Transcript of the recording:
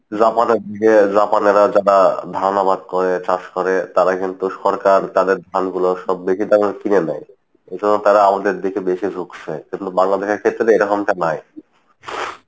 Japan এর দিকে জাপানেরা যারা ধান আবাদ করে চাষ করে তারা কিন্তু সরকার তাদের ধান গুলোও কিনে নেই ওই জন্য তারা আমাদের দিকে বেশি ঝুঁকসে কিন্তু বাংলাদেশের ক্ষেত্রে এরকমটা নাই।